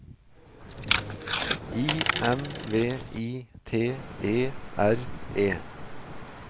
I N V I T E R E